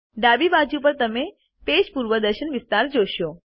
ડાબી બાજુ પર તમે પેજ પૂર્વદર્શન વિસ્તાર જોશો